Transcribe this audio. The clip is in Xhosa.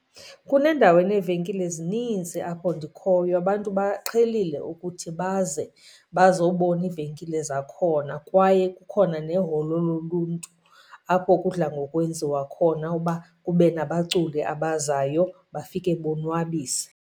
Kunendawo eneevenkile ezininzi apho ndikhoyo, abantu baqhelile ukuthi baze bazowubona iivenkile zakhona. Kwaye kukhona neholo loluntu apho kudla ngokwenziwa khona uba kube nabaculi abazayo bafike bonwabise.